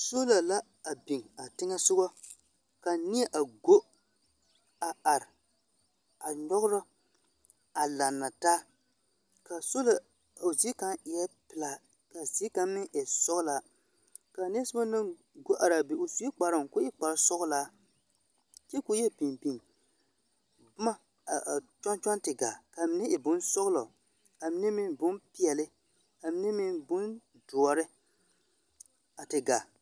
Sola la biŋ a teŋԑ sogͻ ka neԑ a go a are a nyͻgerͻ a laanna taa. Ka a sola, o zie kaŋ eԑ pelaa ka a zie kaŋ e sͻgelaa. Ka a neԑ na soba naŋ go are a be o sue kparoŋ koo e kpare sͻgelaa, kyԑ koo yԑ biŋ biŋ boma ka a kyͻŋ kyͻŋ te gaa ka a mine e bonsͻgelͻ, ka a mine meŋ bompeԑle, ka a mine meŋ bondõͻre a te gaa.